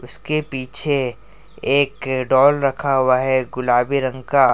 इसके पीछे एक डाल रखा हुआ है गुलाबी रंग का।